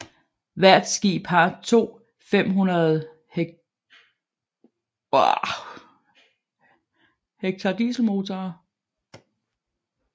Hvert skib har to 500 HK dieselmotorer